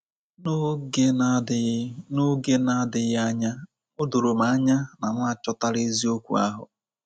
N’oge na-adịghị N’oge na-adịghị anya, o doro m anya na m achọtala eziokwu ahụ.